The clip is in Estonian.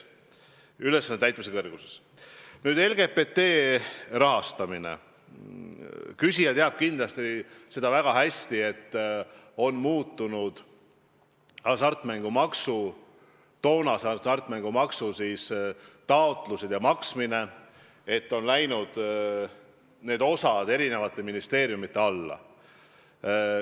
Nüüd, mis puudutab LGBT rahastamist, siis teab küsija kindlasti väga hästi, et muutunud on hasartmängumaksu taotlemine ja maksmine, need osad on läinud erinevate ministeeriumide alla.